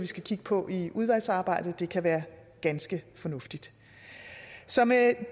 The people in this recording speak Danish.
skal kigge på i udvalgsarbejdet det kan være ganske fornuftigt så med